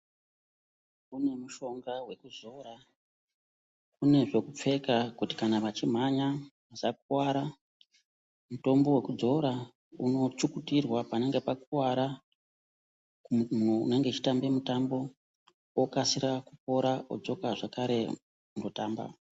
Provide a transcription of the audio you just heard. Kune mushonga wekuzora, kune zvekupfeka kuti kana vachimhanya vasakuwara. Mutombo wekudzora unotsukutirwa panenge pakuwara, munhu unenge echitambe mutambo okasira kupora odzoka zvakare kundotamba.